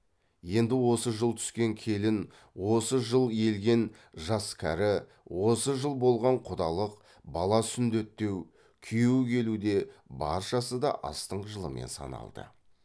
енді осы жыл түскен келін осы жыл елген жас кәрі осы жыл болған құдалық бала сүндеттеу күйеу келу де баршасы да астың жылымен саналды